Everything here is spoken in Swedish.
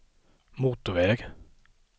motorväg